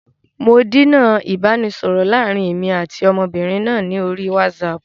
Mò díná ìbánisọọ̀rọ̀ láàrín èmi àti ọmọbìnrin náà ni orí wásààpù.